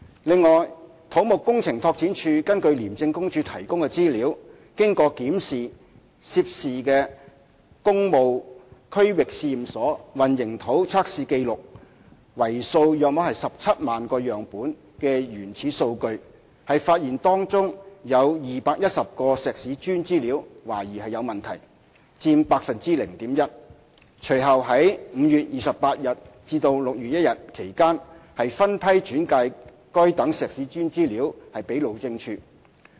另外，土木工程拓展署根據廉署提供的資料，經檢視涉事的工務區域試驗所混凝土測試紀錄為數約17萬個樣本的原始數據，發現當中有210個石屎磚資料懷疑有問題，佔 0.1%， 隨後於5月28日至6月1日期間分批轉介該等石屎磚資料給路政署。